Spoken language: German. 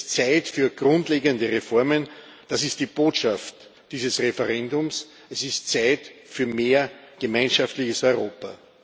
Aber es ist Zeit für grundlegende Reformen, das ist die Botschaft dieses Referendums, es ist Zeit für mehr gemeinschaftliches Europa.